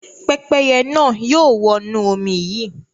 Pẹ́pẹ́yẹ náà yóò wọnú omi yìí.